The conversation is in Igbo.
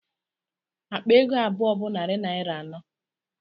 Akpa ego abụọ bụ narị naira anọ